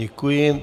Děkuji.